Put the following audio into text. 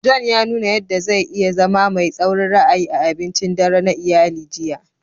John ya nuna yadda zai iya zama mai tsaurin ra'ayi a abincin dare na iyali jiya.